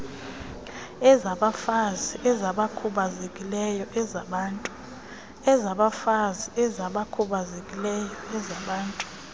ezabafazi ezabakhubazekileyo azabantu